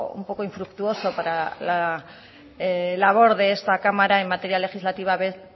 un poco infructuoso para la labor de esta cámara en materia legislativa ver